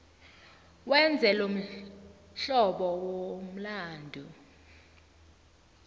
wenze lomhlobo womlandu